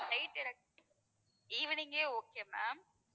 flight எனக்கு evening ஏ okay ma'am